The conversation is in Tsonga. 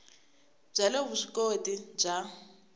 bya le vusw ikoti bya